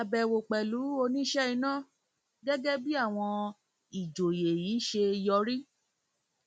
ṣàbẹwò pẹlú oníṣe iná gẹgẹ bí àwọn ìjọyé yìí ṣe yọrí